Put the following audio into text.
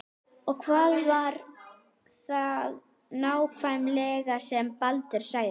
Og hvað var það nákvæmlega sem Baldur sagði?